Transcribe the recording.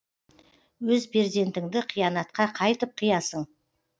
өз перзентіңді қиянатқа қайтып қиясың